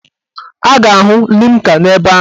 A ga-ahụ limca n'ebe ahụ.